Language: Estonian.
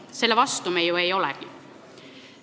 Selle vastu me ju ei olegi.